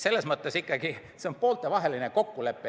Selles mõttes ikkagi, et see on pooltevaheline kokkulepe.